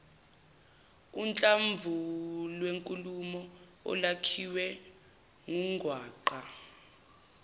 uhlamvulwenkulumo olwakhiwe ngungwaqa